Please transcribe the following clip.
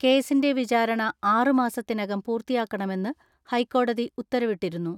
കേസിൻറെ വിചാരണ ആറ് മാസത്തിനകം പൂർത്തിയാക്കണമെന്ന് ഹൈക്കോടതി ഉത്തരവിട്ടിരുന്നു.